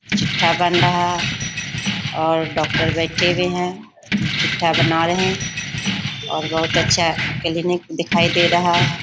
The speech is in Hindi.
चिट्ठा बन रहा और डॉक्टर बैठे भी हैं चिट्ठा बना रहे हैं और बोहोत अच्छा क्लिनिक दिखाई दे रहा है |